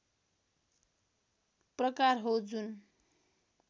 प्रकार हो जुन